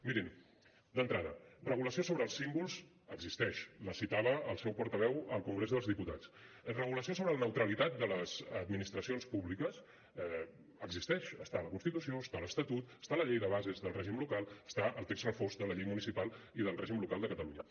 mirin d’entrada regulació sobre els símbols existeix la citava el seu portaveu al congrés dels diputats regulació sobre la neutralitat de les administracions públiques existeix està a la constitució està a l’estatut està a la llei de bases del règim local està al text refós de la llei municipal i del règim local de catalunya